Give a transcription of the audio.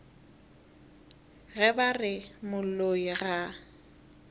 ge ba re moloi ga